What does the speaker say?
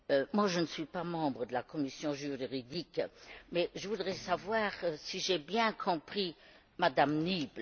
Moi, je ne suis pas membre de la commission des affaires juridiques, mais je voudrais savoir si j'ai bien compris Mme Niebler.